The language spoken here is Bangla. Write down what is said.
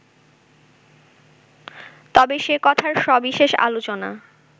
তবে সে কথার সবিশেষ আলোচনা